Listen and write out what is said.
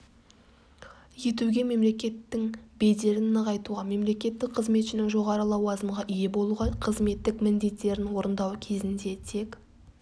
етуге мемлекеттің беделін нығайтуға мемлекеттік қызметшінің жоғары лауазымға ие болуға қызметтік міндеттерін орындау кезінде тек